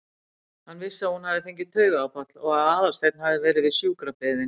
Hann vissi að hún hafði fengið taugaáfall og að Aðalsteinn hafði verið við sjúkrabeðinn.